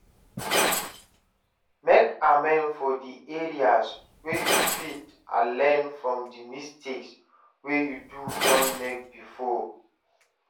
Make amend for di areas wey you fit and learn from di mistakes wey you don make before